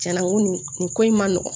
Cɛn na n ko nin nin ko in ma nɔgɔn